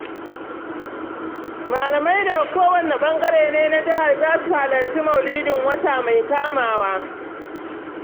Malamai daga kowanne ɓangare na jihar ne za su halarci mauludin wata mai kamawa.